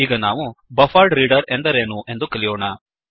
ಈಗ ನಾವು buffered reader buffered reader ಎಂದರೇನು ಎಂದು ಕಲಿಯೋಣ